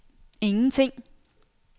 ingenting